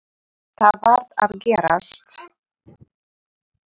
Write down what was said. Þetta varð að gerast.